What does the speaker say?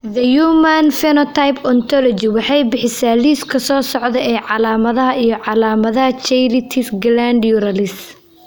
The Human Phenotype Ontology waxay bixisaa liiska soo socda ee calaamadaha iyo calaamadaha Cheilitis glandularis.